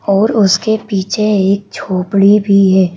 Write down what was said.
और उसके पीछे एक झोपड़ी भी है।